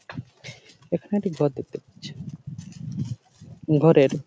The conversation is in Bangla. এখানে একটি ঘর দেখতে পাচ্ছি। ঘরের--